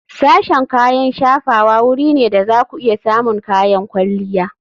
Sashen kayan shafawa wuri ne da za ku iya samun kayan kwalliya.